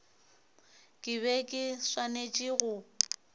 ke be ke swanetše go